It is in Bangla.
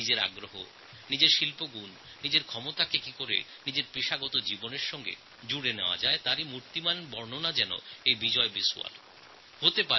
নিজস্ব রুচি নিজস্ব শিল্প নিজস্ব ক্ষমতাকে নিজের কাজের সঙ্গে কীভাবে যুক্ত করা যায় তা বিজয় বিশওয়াল দেখিয়ে দিয়েছেন